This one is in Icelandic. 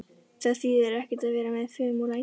Það þýðir ekkert að vera með fum og læti.